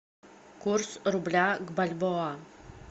курс рубля к бальбоа